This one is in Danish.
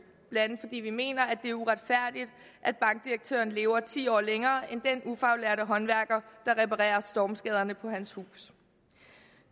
blandt andet fordi vi mener at det er uretfærdigt at bankdirektøren lever ti år længere end den ufaglærte håndværker der reparerer stormskaderne på hans hus